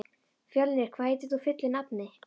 Fjölnir, hvað heitir þú fullu nafni?